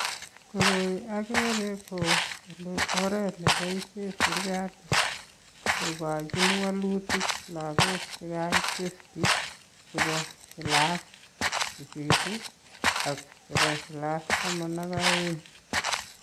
Koroi akere ko oret nepoishe sirikali kokochin wolutik lagok chekaai testi chepo kilas sisit ak chepo kilas taman ak aeng.